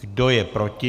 Kdo je proti?